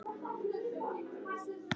Það stóð í tvær vikur.